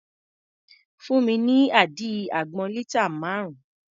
Fún mi ní àdí àgbọn lítà márùn-ún.